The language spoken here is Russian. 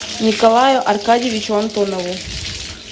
николаю аркадьевичу антонову